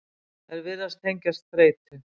þær virðast tengjast þreytu